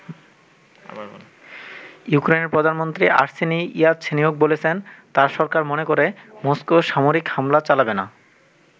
ইউক্রেনের প্রধানমন্ত্রী Arseniy Yatsenyuk বলেছেন তার সরকার মনে করে মস্কো সামরিক হামলা চালাবে না।